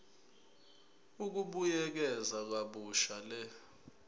ukubuyekeza kabusha le